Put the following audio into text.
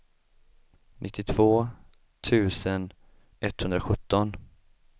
nittiotvå tusen etthundrasjutton